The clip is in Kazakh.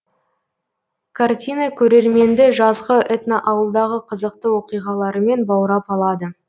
картина көрерменді жазғы этноауылдағы қызықты оқиғаларымен баурап алады